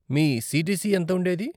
మీ CTC ఎంత ఉండేది?